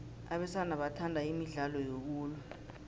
abesana bathanda imidlalo yokulwa